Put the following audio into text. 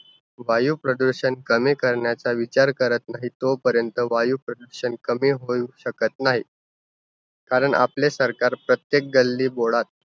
वायुप्रदूषण कमी करण्याचा विचार करत नाही, तोपर्यंत वायुप्रदूषण कमी होऊ शकत नाही. कारण आपले सरकार प्रत्येक गल्लीबोळा